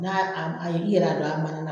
N'a am a i yɛrɛ y'a don a mana na